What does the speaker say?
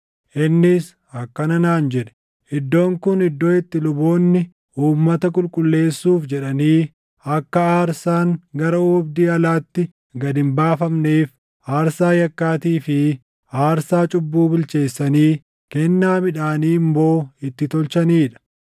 Innis akkana naan jedhe; “Iddoon kun iddoo itti luboonni uummata qulqulleessuuf jedhanii akka aarsaan gara oobdii alaatti gad hin baafamneef aarsaa yakkaatii fi aarsaa cubbuu bilcheessanii kennaa midhaanii immoo itti tolchanii dha.”